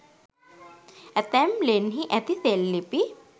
ඇතැම් ලෙන්හි ඇති සෙල්ලිපි